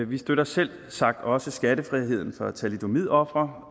vi støtter selvsagt også skattefriheden for thalidomidofre